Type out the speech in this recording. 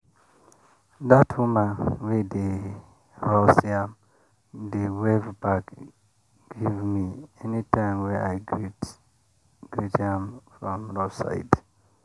that woman wey dey roast yam dey wave back give me anytime wey i greet greet am from roadside.